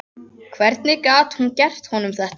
Hvernig gat hún gert honum þetta?